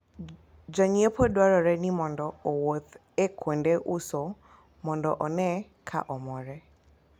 Janyiepo dwarore ni mondo owuoth e kuonde uso mondo one ka omore